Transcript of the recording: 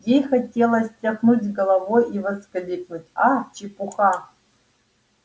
ей хотелось тряхнуть головой и воскликнуть а чепуха